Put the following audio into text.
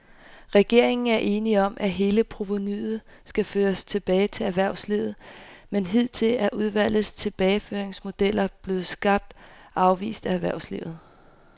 Regeringen er enig om, at hele provenuet skal føres tilbage til erhvervslivet, men hidtil er udvalgets tilbageføringsmodeller blevet skarpt afvist af erhvervslivet.